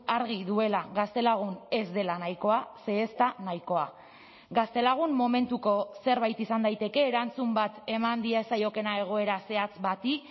argi duela gaztelagun ez dela nahikoa ze ez da nahikoa gaztelagun momentuko zerbait izan daiteke erantzun bat eman diezaiokeena egoera zehatz bati